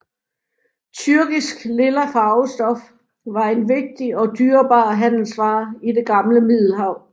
Tyrkisk lilla farvestof var en vigtig og dyrebar handelsvare i det gamle Middelhav